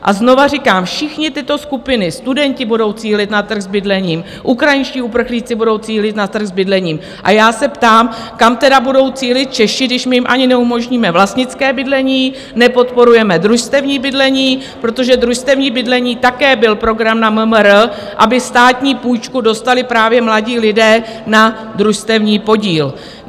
A znovu říkám, všechny tyto skupiny - studenti budou cílit na trh s bydlením, ukrajinští uprchlíci budou cílit na trh s bydlením, a já se ptám, kam tedy budou cílit Češi, když my jim ani neumožníme vlastnické bydlení, nepodporujeme družstevní bydlení, protože družstevní bydlení také byl program na MMR, aby státní půjčku dostali právě mladí lidé na družstevní podíl.